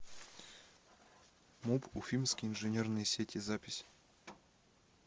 муп уфимские инженерные сети запись